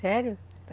Sério?